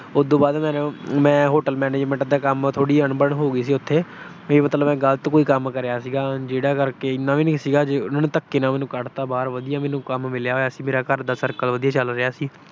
ਉਦੂ ਬਾਅਦ ਮੈਂ Hotel Manangement ਦੇ ਕੰਮ ਚ ਥੋੜੀ ਅਣਬਣ ਹੋ ਗਈ ਸੀ ਉੱਥੇ। ਵੀ ਮੈਂ ਕੋਈ ਗਲਤ ਕੰਮ ਕਰੀਆ ਸੀ, ਜਿਹੜਾ ਕਿ ਇੰਨਾ ਵੀ ਨਹੀਂ ਸੀਗਾ, ਉਹਨਾਂ ਨੇ ਧੱਕੇ ਨਾਲ ਮੈਨੂੰ ਕੱਢਤਾ ਬਾਹਰ। ਵਧੀਆ ਮੈਨੂੰ ਕੰਮ ਮਿਲਿਆ ਹੋਇਆ ਸੀ, ਮੇਰਾ ਘਰ ਦਾ ਸਰਕਲ ਵਧੀਆ ਚਲ ਰਿਹਾ ਸੀ।